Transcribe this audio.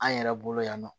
An yɛrɛ bolo yan nɔ